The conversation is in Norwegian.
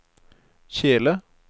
kjele